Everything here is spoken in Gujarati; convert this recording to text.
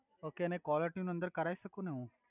ઓકે અને કોલર ટ્યુન અંદર કરાઇ સકુ ને હુ